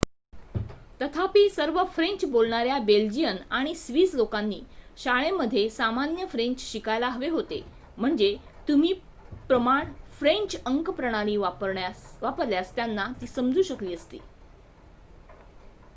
तथापि सर्व फ्रेंच बोलणाऱ्या बेल्जियन आणि स्विस लोकांनी शाळेमध्ये सामान्य फ्रेंच शिकायला हवे होते म्हणजे तुम्ही प्रमाण फ्रेंच अंक प्रणाली वापरल्यास त्यांना ती समजू शकली असती